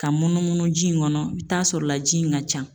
Ka munumunu ji in kɔnɔ, i bɛ taa sɔrɔ laji in ka ca.